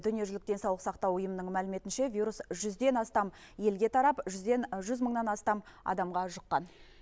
дүниежүзілік денсаулық сақтау ұйымының мәліметінше вирус жүзден астам елге тарап жүзден жүз мыңнан астам адамға жұққан